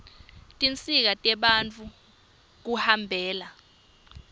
tinsita tebantfu kuhambela